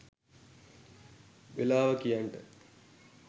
වෙලාව කියන්ට